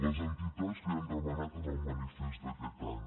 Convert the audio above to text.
les entitats li ho han demanat en el manifest d’aquest any